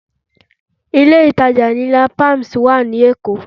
Ilé ìtajà ńlá Palms wà ní Èkó